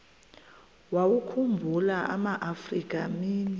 wawakhumbul amaafrika mini